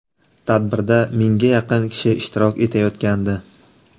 Tadbirda mingga yaqin kishi ishtirok etayotgandi.